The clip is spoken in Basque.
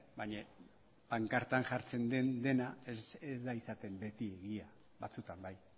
baina pankartan jartzen den dena ez da izaten beti egia batzutan bai